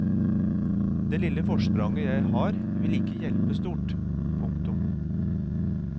Det lille forspranget jeg har vil ikke hjelpe stort. punktum